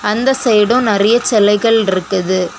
அந்த சைடும் நிறையச்செலைகள் ர்ருக்குது.